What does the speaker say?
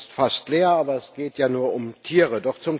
Der Saal ist fast leer, aber es geht ja nur um Tiere!